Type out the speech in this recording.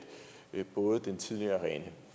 både den tidligere rene